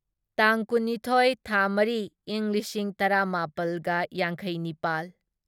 ꯇꯥꯡ ꯀꯨꯟꯅꯤꯊꯣꯢ ꯊꯥ ꯃꯔꯤ ꯢꯪ ꯂꯤꯁꯤꯡ ꯇꯔꯥꯃꯥꯄꯜꯒ ꯌꯥꯡꯈꯩꯅꯤꯄꯥꯜ